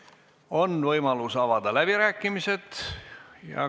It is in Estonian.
On võimalus avada läbirääkimised.